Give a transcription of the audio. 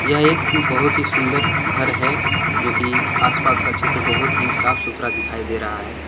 यह एक बहोत ही सुंदर घर है जोकि आसपास का क्षेत्र बहोत ही साफ सुथरा दिखाई दे रहा है।